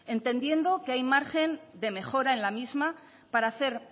entendiendo que hay margen de mejora en la misma para hacer